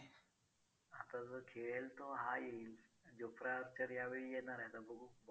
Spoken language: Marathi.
आता जो खेळेल तो हा येईल jofra archer यावेळी येणार आहे आता बघू.